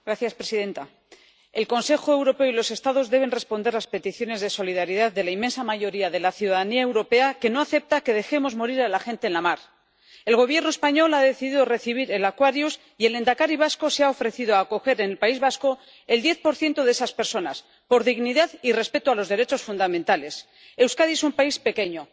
Señora presidenta, el Consejo Europeo y los Estados deben responder a las peticiones de solidaridad de la inmensa mayoría de la ciudadanía europea, que no acepta que dejemos morir a la gente en la mar. El Gobierno español ha decidido recibir al Aquarius, y el lehendakari vasco se ha ofrecido a acoger en el País Vasco al 10 de esas personas por dignidad y respeto a los derechos fundamentales. Euskadi es un país pequeño.